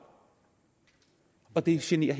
og det generer